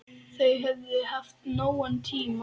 Þau höfðu haft nógan tíma.